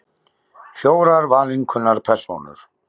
Fjórar valinkunnar persónur.